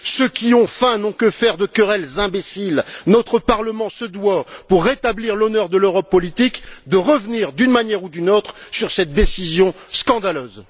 Ceux qui ont faim n'ont que faire de querelles imbéciles notre Parlement se doit, pour rétablir l'honneur de l'Europe politique, de revenir, d'une manière ou d'une autre, sur cette décision scandaleuse.